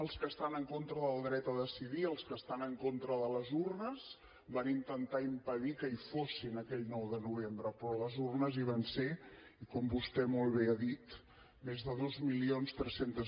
els que estan en contra del dret a decidir els que estan en contra de les urnes van intentar impedir que hi fossin aquell nou de novembre però les urnes hi van ser i com vostè molt bé ha dit més de dos mil tres cents